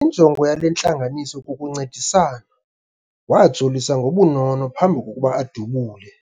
Injongo yale ntlanganiso kukuncedisana. wajolisa ngobunono ngaphambi kokuba adubule